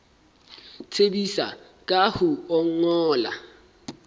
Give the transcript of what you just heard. tsebisa ka ho o ngolla